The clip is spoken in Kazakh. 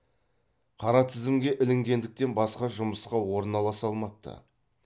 қара тізімге ілінгендіктен басқа жұмысқа орналаса алмапты